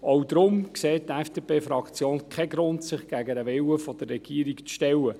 Auch deswegen sieht die FDP-Fraktion keinen Grund sich gegen den Willen der Regierung zu stellen.